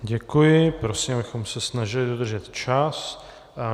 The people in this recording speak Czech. Děkuji, prosím, abychom se snažili dodržet čas.